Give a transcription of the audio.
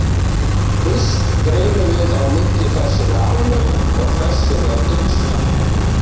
Fyrst greinum við á milli þess sem er almennt og þess sem er einstakt.